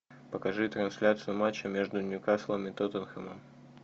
покажи трансляцию матча между ньюкаслом и тоттенхэмом